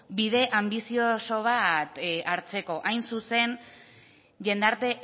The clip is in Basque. bide anbizioso bat hartzeko hain zuzen jendarte